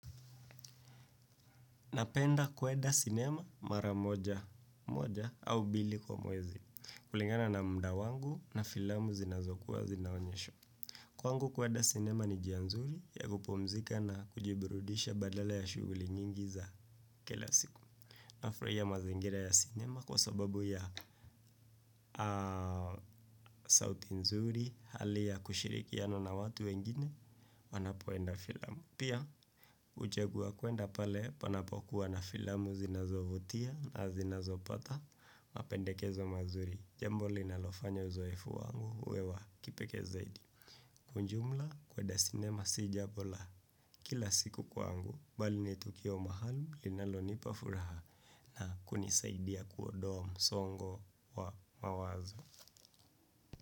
Napenda kuenda sinema mara moja moja au mbili kwa mwezi kulingana na muda wangu na filamu zinazokuwa zinaonyeshwa. Kwangu kuenda sinema ni jia nzuri ya kupumzika na kujiburudisha badala ya shughuli nyingi za kila siku. Nafurahia mazingira ya sinema kwa sababu ya sauti nzuri, hali ya kushirikiana na watu wengine, wanapoenda filamu. Pia huchagua kuenda pale panapokuwa na filamu zinazovutia na zinazopata mapendekezo mazuri. Jambo linalofanya uzoefu wangu uwe wa kipekee zaidi. Kwa jumla kuenda sinema si jambo la kila siku kwangu. Bali ni tukio maalum linalonipa furaha na kunisaidia kuondoa msongo wa mawazo.